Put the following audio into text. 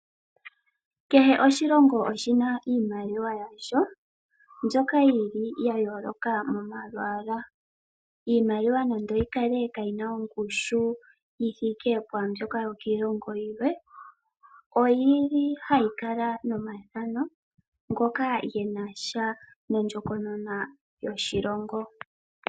Kehe oshilongo oshina iimaliwa yasho mbyoka yili ya yooloka momalwaala. Iimaliwa nande oyi kale kaayina ongushu yi thike pwaambyoka yokiilongo yilwe, oyili hayi kala nomathano ngoka genasha nondjokonona yina sha noshilongo.